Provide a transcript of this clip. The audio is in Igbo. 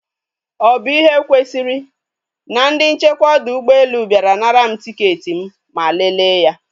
Ọ bụ ihe kwesịrị? Na ndị nchekwa ọdọ ụgbọelu bịara nara m tiketi m ma leele ya